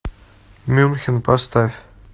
мюнхен поставь